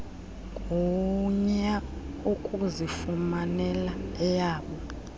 gunya ukuzifumanela eyabo